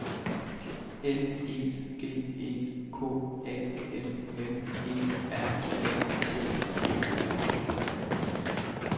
L E G E K A M M E R A T E R